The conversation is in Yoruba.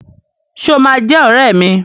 Ṣé o máa jẹ́ ọrẹ́ mi?